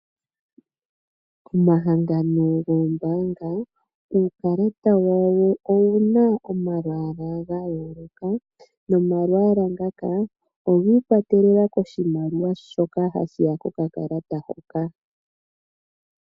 Omahangano goombaanga, uukalata wawo owu na omalwaala ga yooloka nomalwaala ngaka ogi ikwatelela koshimaliwa shoka hashi ya kokakalata hoka.